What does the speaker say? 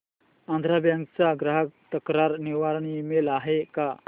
Andhra bank चा ग्राहक तक्रार निवारण ईमेल आहे का